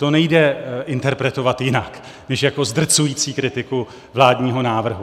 To nejde interpretovat jinak než jako zdrcující kritiku vládního návrhu.